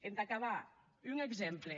entà acabar un exemple